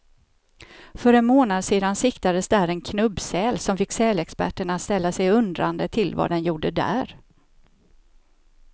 För en månad sedan siktades där en knubbsäl, som fick sälexperterna att ställa sig undrande till vad den gjorde där.